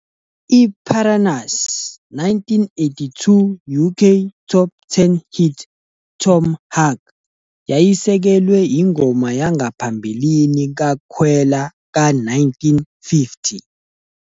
I-Piranha's 1982 UK Top Ten hit 'Tom Hark' yayisekelwe ingoma yangaphambilini kaKwela ka-1950.